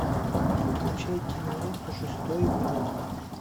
включай киноленту шестой игрок